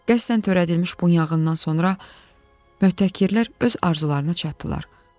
Qəsdən törədilmiş bu yanğından sonra möhtəkirlər öz arzularına çatdılar.